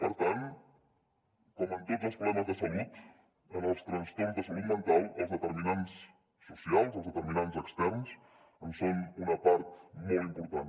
per tant com en tots els problemes de salut en els trastorns de salut mental els determinants socials els determinants externs en són una part molt important